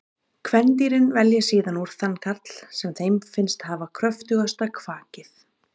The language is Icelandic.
Kvendýrin velja síðan úr þann karl sem þeim finnst hafa kröftugasta kvakið.